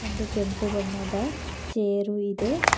ಒಂದು ಕೆಂಪು ಬಣ್ಣದ ಚೇರು ಇದೆ.